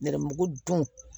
N yɛrɛmugu don